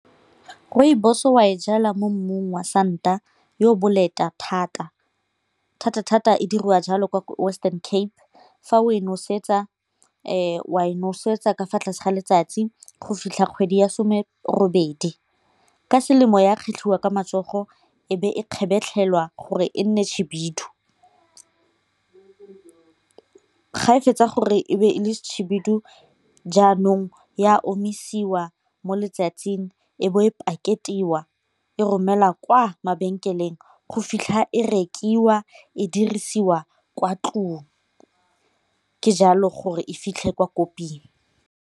Rooibos wa e jala mo mmung wa santa yo o boleta thata, thata-thata e diriwa jalo kwa western cape fa o e nosetsa wa e nosetsa ka fa tlase ga letsatsi go fitlha kgwedi ya some robedi. Ka selemo ya kgetlhwa ka matsogo e be e kgabetlhelela gore e nne khibidu, ga e fetsa gore e be e le khibidu jaanong ya omisiwa mo letsatsing e bo e paketiwa e romelwa kwa mabenkeleng go fitlha ko e dirisiwa kwa ntlong ke jalo gore e fitlhe kwa koping.